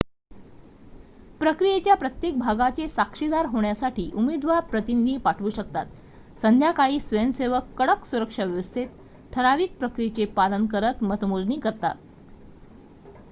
प्रक्रियेच्या प्रत्येक भागाचे साक्षीदार होण्यासाठी उमेदवार प्रतिनिधी पाठवू शकतात संध्याकाळी स्वयंसेवक कडक सुरक्षाव्यवस्थेत ठराविक प्रक्रियेचे पालन करत मतमोजणी करतात